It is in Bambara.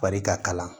Fari ka kalan